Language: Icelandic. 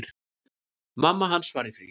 Mamma hans var í fríi.